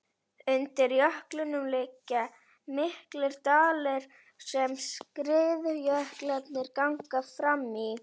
Undir jöklinum liggja miklir dalir sem skriðjöklarnir ganga fram í.